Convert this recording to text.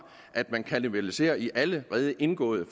at man kannibaliserer i allerede indgåede